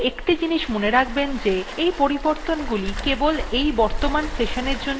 কিন্তু একটি জিনিস মনে রাখবেন যে এই পরিবর্তনগুলি কেবল এই বর্তমান sessionএর জন্য প্রযোজ্য